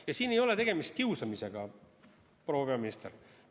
Ja siin ei ole tegemist kiusamisega, proua minister!